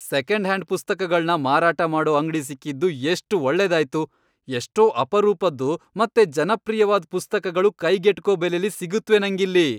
Second hand ಪುಸ್ತಕಗಳ್ನ ಮಾರಾಟ ಮಾಡೋ ಅಂಗ್ಡಿ ಸಿಕ್ಕಿದ್ದು ಎಷ್ಟ್ ಒಳ್ಳೇದಾಯ್ತು! ಎಷ್ಟೋ ಅಪರೂಪದ್ದು ಮತ್ತೆ ಜನಪ್ರಿಯವಾದ್ ಪುಸ್ತಕಗಳು ಕೈಗೆಟ್ಕೋ ಬೆಲೆಲಿ ಸಿಗತ್ವೆ ನಂಗಿಲ್ಲಿ.